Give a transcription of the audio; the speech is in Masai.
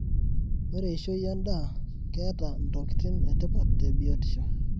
Ore eishoi endaa ketaa ntokiti etipat tebiotisho.